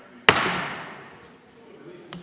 Istungi lõpp kell 15.12.